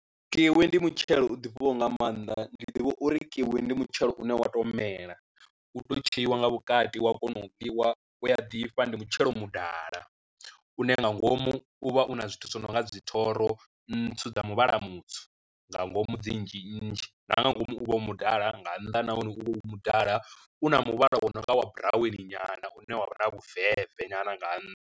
Kiwi ndi mutshelo u ḓifhaho nga maanḓa ndi ḓivha uri kiwi ndi mutshelo une wa to mela u to tsheiwa nga vhukati wa kona u ḽiwa wa ḓifha ndi mutshelo mudala, u ne nga ngomu u vha u na zwithu zwo no nga dzi thoro ntswu dza muvhala mutswu nga ngomu dzi nnzhi nnzhi na nga ngomu u vha u mudala nga nnḓa nahone u vha u mudala u na muvhala wa nonga wa buraweni nyana u ne wa vha na vhu veve nyana nga nnḓa.